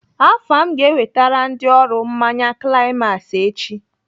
Afam ga-ewetere ndị ọrụ mmanya climax echi.